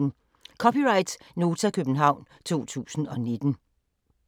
(c) Nota, København 2019